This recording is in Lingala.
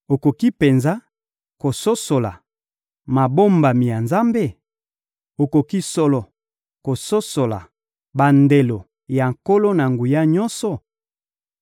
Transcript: Okoki penza kososola mabombami ya Nzambe? Okoki solo kososola bandelo ya Nkolo-Na-Nguya-Nyonso?